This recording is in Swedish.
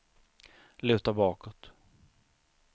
luta bakåt